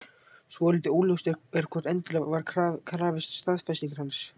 Svolítið óljóst er hvort endilega var krafist staðfestingar hans.